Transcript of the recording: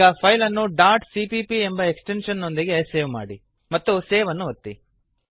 ಈಗ ಫೈಲ್ ಅನ್ನು dot CPP ಎಂಬ ಎಕ್ಸ್ಟೆಂಶನ್ ನೊಂದಿಗೆ ಸೇವ್ ಮಾಡಿ ಮತ್ತು ಸೇವ್ ಅನ್ನು ಒತ್ತಿ